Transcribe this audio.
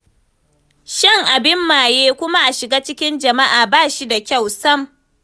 Shan abin maye kuma a shiga cikin jama'a ba shi da kyau sam